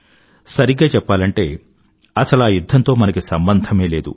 సరిగ్గా చెప్పాలంటే అసలా యుధ్ధంతో మనకి సంబంధమే లేదు